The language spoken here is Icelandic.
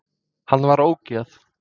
Hann var ógeð!